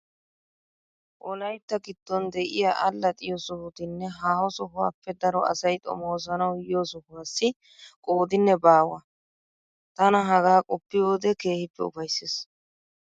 Wolaytta giddon de'iya allaxxiyo sohotinne haaho sohuwappe daro asay xomoosanawu yiyo sohuwassi qoodinne baawa. Tana hagaa qoppiyo wode keehippe ufayssees.